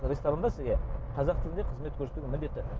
ресторанда сізге қазақ тілінде қызмет көрсетуге міндетті